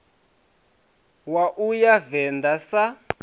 wa u ya venḓa sun